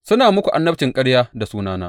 Suna muku annabcin ƙarya da sunana.